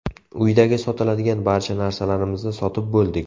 Uydagi sotiladigan barcha narsalarimizni sotib bo‘ldik.